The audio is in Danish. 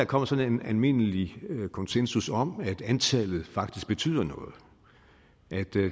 kommet sådan en almindelig konsensus om at antallet faktisk betyder noget at